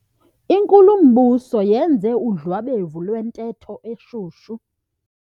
Inkulumbuso yenze udlwabevu lwentetho eshushu.